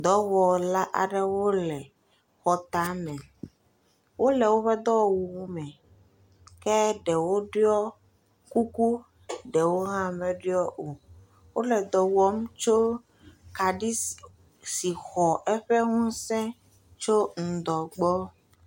Dɔwɔla aɖewo le xɔ tame. Wole woƒe dɔwɔwuwome. Ke ɖewo ɖiɔ kuku. Ɖewo hã meɖiɔ o. wole dɔ wɔm tso kaɖi si si xɔ eƒe ŋusẽ tso ŋdɔ gbɔ.